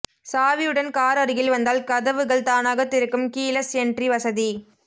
சாவியுடன் car அருகில் வந்தால் கதவுவகள் தானாக திறக்கும் கீலெஸ் என்ட்ரி வசதி